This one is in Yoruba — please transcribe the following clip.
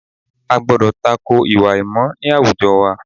A gbọ́dọ̀ ta ko ìwà àìmọ̀ ní àwùjọ wa